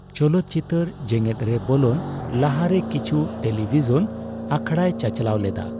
ᱪᱚᱞᱚᱛ ᱪᱤᱛᱟᱹᱨ ᱡᱮᱸᱜᱮᱫᱨᱮ ᱵᱚᱞᱚᱱ ᱞᱟᱦᱟᱨᱮ ᱠᱤᱪᱷᱩ ᱴᱮᱞᱤᱵᱷᱤᱥᱚᱱ ᱟᱠᱷᱲᱟᱭ ᱪᱟᱨᱪᱟᱞᱟᱣ ᱞᱮᱫᱟ ᱾